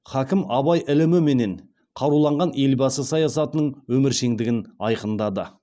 хакім абай іліміменен қаруланған елбасы саясатының өміршеңдігін айқындады